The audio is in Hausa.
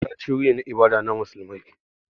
Masallaci wurin ibada ne na musulmi.